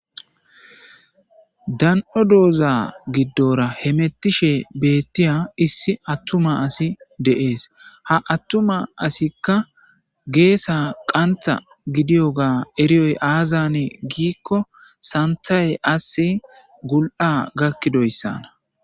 dan7o dooza giddora hemettishe beettiya issi attuma asi de7ees ha attuma asikka geesa qantha gidiyoga eriyoy aazane giikko santhay ass gul7a gakkidoyssana